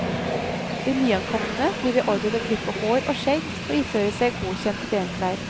De nyankomne blir beordret til å klippe hår og skjegg og iføre seg godkjente benklær.